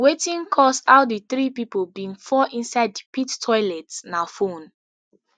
wetin cause how di three pipo bin fall inside di pit toilet na phone